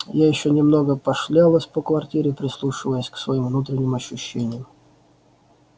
я ещё немного пошлялась по квартире прислушиваясь к своим внутренним ощущениям